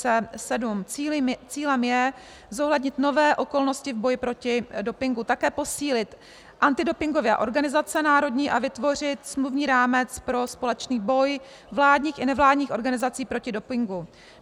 Cílem je zohlednit nové okolnosti v boji proti dopingu, také posílit antidopingové organizace národní a vytvořit smluvní rámec pro společný boj vládních i nevládních organizací proti dopingu.